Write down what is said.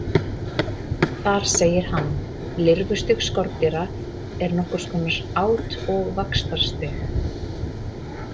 Þar segir hann: Lirfustig skordýra er nokkurs konar át- og vaxtarstig.